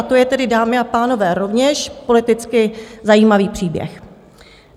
A to je tedy, dámy a pánové, rovněž politicky zajímavý příběh.